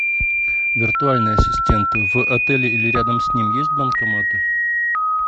виртуальный ассистент в отеле или рядом с ним есть банкоматы